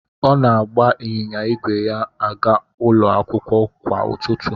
Ọ na-agba ịnyịnya ígwè ya aga ụlọ akwụkwọ kwa ụtụtụ.